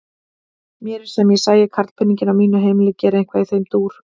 Mér er sem ég sæi karlpeninginn á mínu heimili gera eitthvað í þeim dúr!